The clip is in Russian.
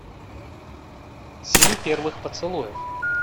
семь первых поцелуев